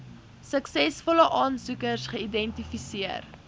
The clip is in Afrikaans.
suksesvolle aansoekers geidentifiseer